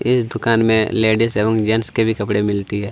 इस दुकान में लेडिस एवं जेंट्स के भी कपड़ा मिलते हैं।